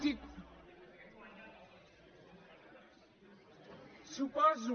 suposo